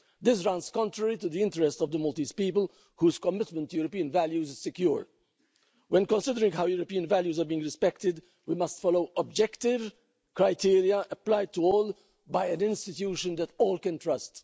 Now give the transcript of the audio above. This runs contrary to the interests of the Maltese people whose commitment to European values is secure. When considering how European values are being respected, we must follow objective criteria applied, to all, by an institution that all can trust.